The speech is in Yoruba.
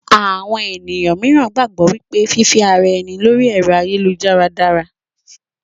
Àwọn ènìyàn míìràn gbàgbọ́ wípé fífe ara ẹni lóri ẹ̀rọ́ ayélujára dára